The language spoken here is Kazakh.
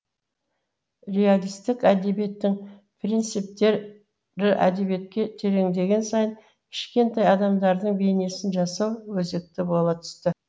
реалистік әдебиеттің принциптері әдебиетке тереңдеген сайын кішкентай адамдардың бейнесін жасау өзекті бола түсті